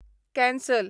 cancel